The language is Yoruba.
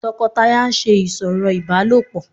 tọkọtaya ń ṣe ìsọ̀rọ̀ ibálopọ